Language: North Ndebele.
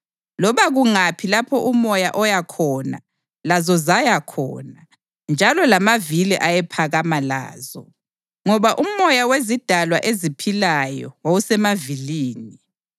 Loba kungaphi lapho umoya owaya khona lazo zaya khona, njalo lamavili ayephakama lazo, ngoba umoya wezidalwa eziphilayo wawusemavilini.